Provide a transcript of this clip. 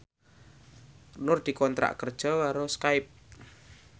Nur dikontrak kerja karo Skype